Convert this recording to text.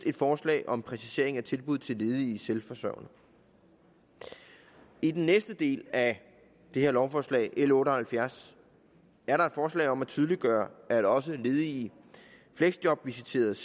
et forslag om præcisering af tilbud til ledige selvforsørgende i den næste del af det her lovforslag l otte og halvfjerds er der et forslag om at tydeliggøre at også ledige fleksjobvisiteredes